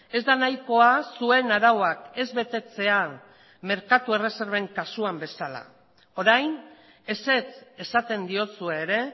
ez da nahikoa zuen arauak ez betetzea merkatu erreserben kasuan bezala orain ezetz esaten diozue ere